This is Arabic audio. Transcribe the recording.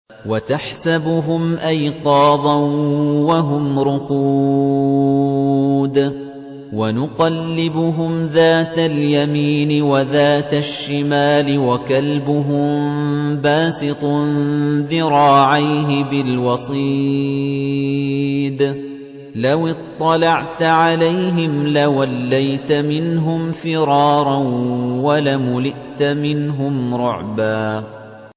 وَتَحْسَبُهُمْ أَيْقَاظًا وَهُمْ رُقُودٌ ۚ وَنُقَلِّبُهُمْ ذَاتَ الْيَمِينِ وَذَاتَ الشِّمَالِ ۖ وَكَلْبُهُم بَاسِطٌ ذِرَاعَيْهِ بِالْوَصِيدِ ۚ لَوِ اطَّلَعْتَ عَلَيْهِمْ لَوَلَّيْتَ مِنْهُمْ فِرَارًا وَلَمُلِئْتَ مِنْهُمْ رُعْبًا